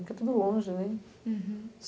Porque é tudo longe, né? Uhum